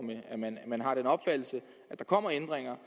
man har den opfattelse at der kommer ændringer